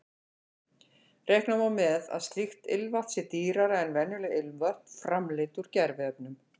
Reikna má með að slíkt ilmvatn sé dýrara en venjuleg ilmvötn framleidd úr gerviefnum.